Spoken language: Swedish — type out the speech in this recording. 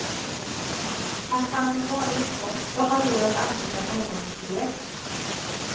Att man med vanlig inkomst ska ha råd att anlita någon till det.